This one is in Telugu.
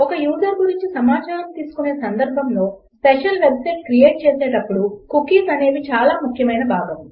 ఒక యూజర్ గురించి సమాచారం తీసుకొనే సందర్భములో స్పెషల్ వెబ్సైట్ క్రియేట్ చేసేటప్పుడు కుకీస్ అనేవి చాలా ముఖ్యమైన భాగము